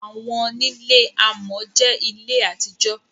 Àwọńilẹ̀ àmọ̀ jẹ́ ilẹ̀ àti jò.